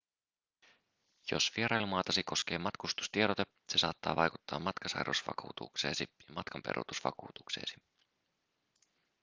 jos vierailumaatasi koskee matkustustiedote se saattaa vaikuttaa matkasairausvakuutukseesi ja matkanperuutusvakuutukseesi